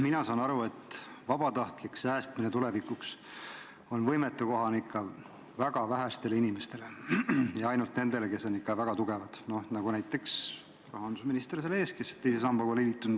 Mina saan aru, et vabatahtlik säästmine tulevikuks on võimetekohane ikka väga vähestele inimestele – ainult nendele, kes on väga tugevad, nagu näiteks rahandusminister meie ees, kes teise sambaga pole liitunud.